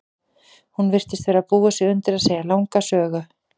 Hún virtist vera að búa sig undir að segja langa sögu.